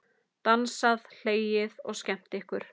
Dansað, hlegið og skemmt ykkur.